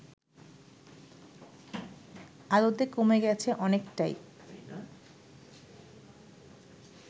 আদতে কমে গেছে অনেকটাই